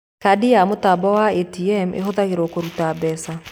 Kandi ya mũtambo wa ATM ĩhũthagĩrwo kũruta mbeca